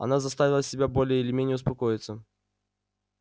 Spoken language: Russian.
она заставила себя более или менее успокоиться